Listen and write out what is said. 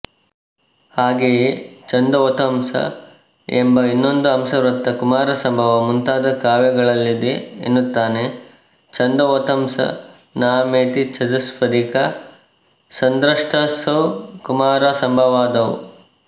ಹಾಗೆಯೇ ಛಂದೋವತಂಸ ಎಂಬ ಇನ್ನೊಂದು ಅಂಶವೃತ್ತ ಕುಮಾರಸಂಭವ ಮುಂತಾದ ಕಾವ್ಯಗಳಲ್ಲಿದೆ ಎನ್ನುತ್ತಾನೆ ಛಂದೋವತಂಸ ನಾಮೇತಿ ಚತುಷ್ಪದಿಕಾ ಸಂದೃಷ್ಟಾಸೌ ಕುಮಾರಸಂಭವಾದೌ